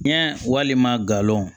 Ɲɛ walima galaw